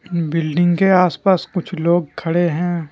Building के आसपास कुछ लोग खड़े हैं ।